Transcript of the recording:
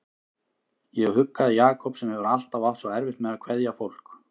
Ég huggaði Jakob sem hefur alltaf átt svo erfitt með að kveðja fólk.